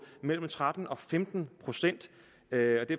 mellem tretten og femten procent